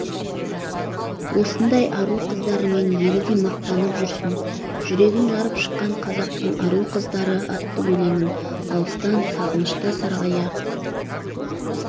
осындай ару қыздарымен елі де мақтанып жүрсін жүрегін жарып шыққан қазақтың ару қыздары атты өлеңін алыстан сағынышта сарғая